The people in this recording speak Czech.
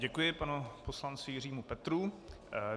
Děkuji panu poslanci Jiřímu Petrů.